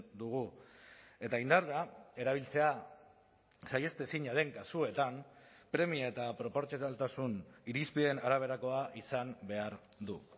dugu eta indarra erabiltzea saihestezina den kasuetan premia eta proportzionaltasun irizpideen araberakoa izan behar du